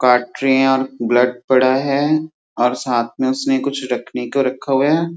कटरिया ब्लड पड़ा है और साथ में उसने कुछ रखने का रखा हुआ है।